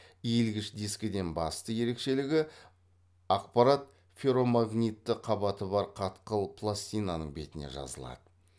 иілгіш дискіден басты ерекшелігі ақпарат ферромагнитті қабаты бар қатқыл пластинаның бетіне жазылады